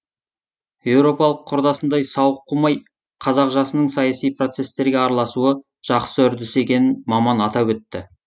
еуропалық құрдасындай сауық қумай қазақ жасының саяси процестерге араласуы жақсы үрдіс екенін маман атап өтті